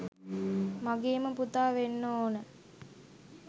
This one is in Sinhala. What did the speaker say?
මගේම පුතා වෙන්න ඕන.